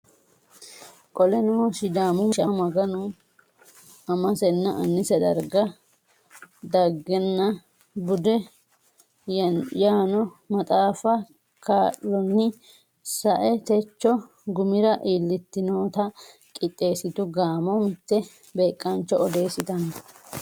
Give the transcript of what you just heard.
Qoleno Sidaamu mishama Maganu amasenna annise daga dhaggenna bude yaanno maxaafa kaa lonni sa e techo gumira iillitinota qixxeessitu gaamo mitte beeqaancho odeessitanno.